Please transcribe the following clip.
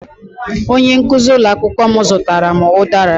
Onye nkuzi ụlọ akwụkwọ m zụtara m udara